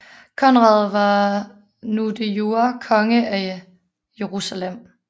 Konrad var nu de jure konge af Jerusalem